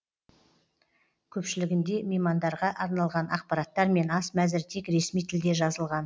көпшілігінде меймандарға арналған ақпараттар мен ас мәзірі тек ресми тілде жазылған